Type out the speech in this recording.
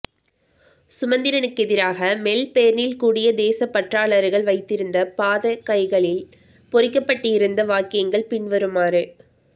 சுமந்திரனுக்கெதிராக மெல்பேர்னில் கூடிய தேசப்பற்றாளர்கள் வைத்திருந்த பதாகைகளில் பொறிக்கப்பட்டிருந்த வாக்கியங்கள் பின்வருமாறு